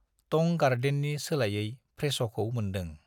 टं गार्डेननि सोलायै फ्रे‌श'खौ मोन्दों।